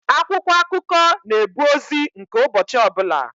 Akwụkwọ akụkọ na-ebu ozi nke ụbọchị ọbụla.